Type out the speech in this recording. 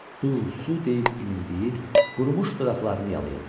Su, su deyib inildəyir, qurumuş dodaqlarını yalayırıdı.